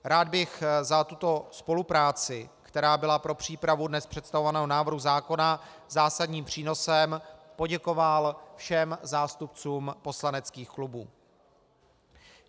Rád bych za tuto spolupráci, která byla pro přípravu dnes představovaného návrhu zákona zásadním přínosem, poděkoval všem zástupcům poslaneckých klubů.